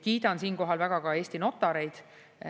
Kiidan siinkohal väga ka Eesti notareid.